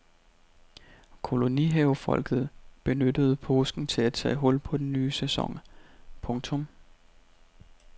Kolonihavefolket benyttede påsken til at tage hul på den nye sæson. punktum